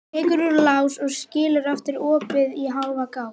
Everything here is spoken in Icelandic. Tekur úr lás og skilur eftir opið í hálfa gátt.